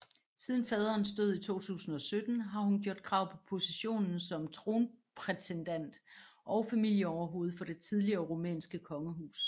Siden faderens død i 2017 har hun gjort krav på positionen som tronprætendent og familieoverhoved for det tidligere rumænske kongehus